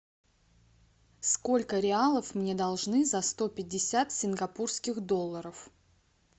сколько реалов мне должны за сто пятьдесят сингапурских долларов